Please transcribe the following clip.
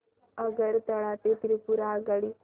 आगरतळा ते त्रिपुरा आगगाडी